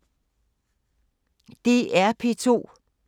DR P2